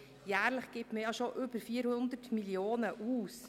Denn man gibt jährlich schon über 400 Mio. Franken aus.